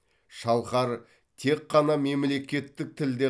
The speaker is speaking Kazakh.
шалқар тек қана мемлекеттік тілде